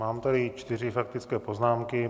Mám tady čtyři faktické poznámky.